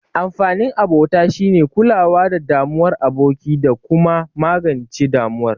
Amfanin abota shine kulawa da damuwar aboki, da kuma magance damuwar